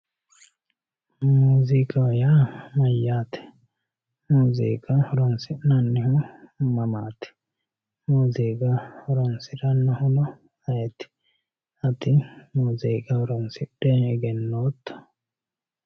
Muziiiqaho yaa mayyaate ? Muziiqa horonsi'nannihu Mamaat? Muziiqa Horonsiranohuno ayeet? Ati muziiqa horonsidhe egenooto?